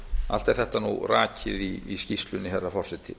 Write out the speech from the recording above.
allt er þetta rakið í skýrslunni herra forseti